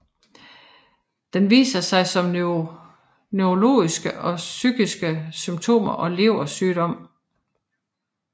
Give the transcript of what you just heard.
Den viser sig som neurologiske og psykiske symptomer og leversygdom